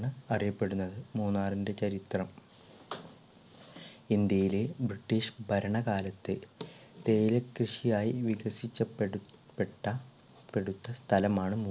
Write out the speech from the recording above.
അറിയപ്പെടുന്നത്. മൂന്നാറിന്റെ ചരിത്രം ഇന്ത്യയിലെ british ഭരണകാലത്തെ തേയില കൃഷിയായി വികസിക്കപ്പെടു പെട്ട പെടുത്ത സ്ഥലം ആണെന്ന് അറിയപ്പെടുന്നത്